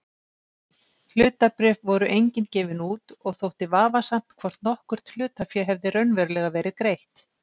Hlutabréf voru engin gefin út og þótti vafasamt hvort nokkurt hlutafé hefði raunverulega verið greitt.